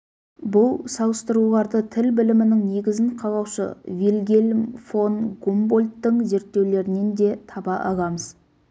бұл салыстыруларды тіл білімінің негізін қалаушы вильгельм фон гумбольдттың зерттеулерінен де таба аламыз